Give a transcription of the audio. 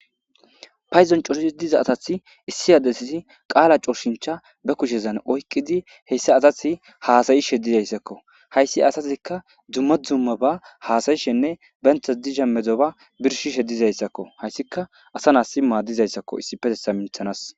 paydon corshi diza asath issi addessi qaala cooshincha be kushezan oykqidi heyssa asathi haasayishe dizayssakko hayssi asasikka dzumma dzumma ba haasayishenne bentha disha medoba birshishe dizayssakko hayssika asa naasi maadizayssakko issi petesa minthanas